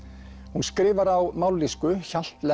hún skrifar á mállýsku